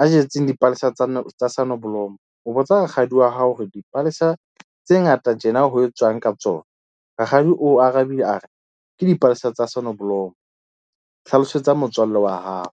a jetseng dipalesa tsa tsa Sonneblom-o. Botsa rakgadi wa hao hore dipalesa tse ngata tjena ho etswang ka tsona? Rakgadi o arabile a re ke dipalesa tsa Sonneblom-o. Hlalosetsa motswalle wa hao.